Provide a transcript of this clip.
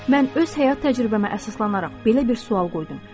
Mən öz həyat təcrübəmə əsaslanaraq belə bir sual qoydum.